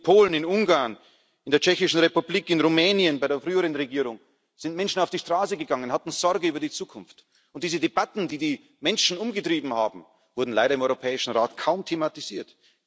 In Polen, in Ungarn, in der Tschechischen Republik, in Rumänien bei der früheren Regierung sind Menschen auf die Straße gegangen, hatten Sorgen über die Zukunft, und diese Debatten, die die Menschen umgetrieben haben, wurden leider im Europäischen Rat kaum thematisiert.